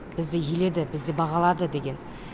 бізді еледі бізді бағалады деген